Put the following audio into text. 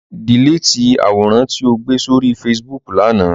Dèlétì àwòrán tí ó gbé sórí Facebook l'ánà!